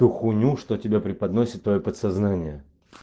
ту хуйню что тебе преподносит твоё подсознание